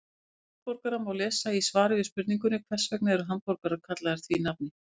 Um hamborgara má lesa í svari við spurningunni Hvers vegna eru hamborgarar kallaðir því nafni?